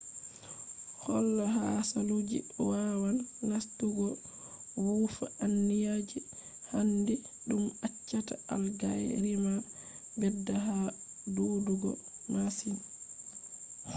hola hasaluuji wawan nastugo wuufa anniya je handi dum accata algae rima bedda ha dudugo masin